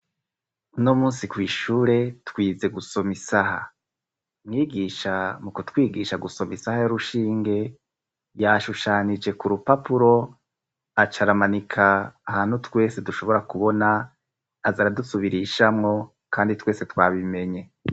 Uno munsi kw'ishure twize gusoma isaha. Mwigisha mukuwigisha gusoma isaha y'urushinge, yashushanije ku rupapuro acaramanika ahantu twese dushobora kubona, aza aradusubirishamwo, kandi twese twabimenye.